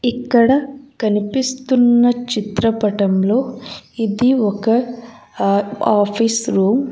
ఇక్కడ కనిపిస్తున్న చిత్రపటంలో ఇది ఒక ఆ ఆఫీస్ రూమ్ .